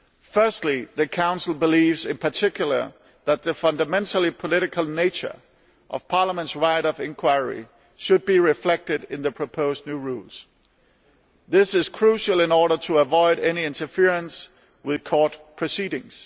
Firstly, the Council believes that the fundamentally political nature of Parliament's right of inquiry should be reflected in the proposed new rules. This is crucial in order to avoid any interference with court proceedings.